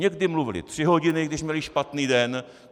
Někdy mluvili tři hodiny, když měli špatný den.